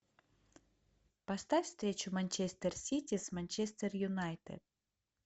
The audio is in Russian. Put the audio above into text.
поставь встречу манчестер сити с манчестер юнайтед